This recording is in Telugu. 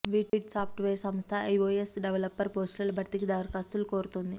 విట్ సాఫ్ట్వేర్ సంస్థ ఐఓఎస్ డెవలపర్ పోస్టుల భర్తీకి దరఖాస్తులు కోరుతోంది